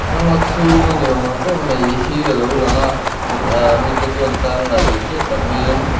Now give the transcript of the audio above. ram ngaw chhhung a ni awm tak mai hi a lo lang a ni ah mite chuan thla an la tih hriat tak maiin.